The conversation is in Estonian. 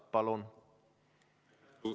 Palun!